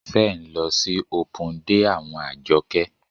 Ṣé ń lọ sí opun dé àwọn Àjọkẹ́?